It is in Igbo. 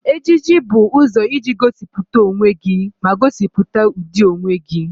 Ejiji bụ ụzọ iji gosipụta onwe gị ma gosipụta ụdị onwe gị.